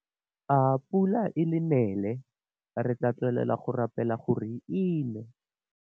A pula e le nele re tla tswelela go rapela gore e ne!